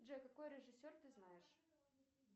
джой какой режиссер ты знаешь